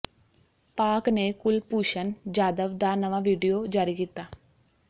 ਪਾਕਿ ਨੇ ਕੁਲਭੂਸ਼ਨ ਜਾਧਵ ਦਾ ਨਵਾਂ ਵੀਡੀਓ ਜਾਰੀ ਕੀਤਾ